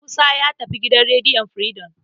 Musa ya tafi gidan rediyon Firidom.